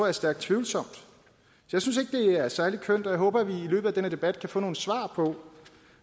er stærkt tvivlsomt jeg synes ikke det er særlig kønt og jeg håber at vi i løbet af den her debat kan få nogle svar på